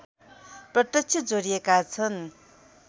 प्रत्यक्ष जोडिएका छन्